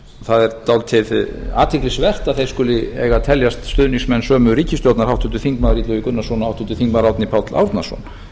það er dálítið athyglisvert að þeir skuli eiga að teljast stuðningsmenn sömu ríkisstjórnar háttvirtur þingmaður illugi gunnarsson og háttvirtur þingmaður árni páll árnason